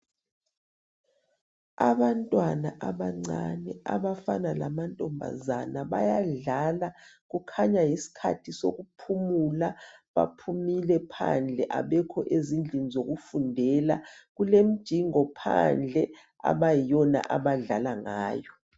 Abantwana abancane abafana lamantombazana bayadlala kukhanya yisikhathi sokuphumula baphumile phandle abekho ezindlini zokufundela ,kulemjingo phandle abayiyona abadlala ngayo.